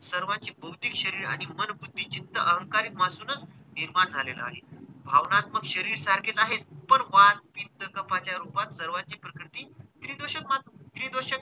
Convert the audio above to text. सर्वांची भौतिक शरीर आणि मन, बुद्धी, चित्त अहंकारिक पासूनच निर्माण झालेलं आहे. भावनात्मक शरीर सारखे आहेच पण वात, पित्त, कफाच्या रूपात सर्वांची प्रकृती त्रिदोषच मान त्रिदोषच,